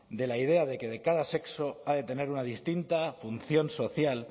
de la idea de que de cada sexo ha de tener una distinta función social